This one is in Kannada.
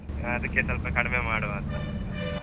ಅದಕ್ಕೆ ಸ್ವಲ್ಪ ಕಡ್ಮೆ ಮಾಡುವಾಂತ .